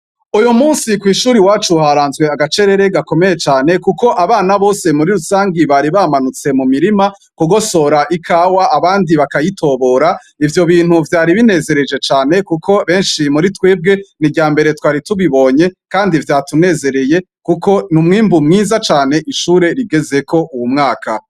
Uyu munsi ku ishuri wacu uharanzwe agacerere gakomeye cane ,kuko abana bose muri rusangi bari bamanutse mu mirima kugosora ikawa ,abandi bakayitobora ivyo bintu vyari binezereje cane kuko benshi muri twebwe ni irya mbere twari tubibonye kandi vyatunezereye kuko ni umwimbu mwiza cane ishure rigeze ko uwu mwaka.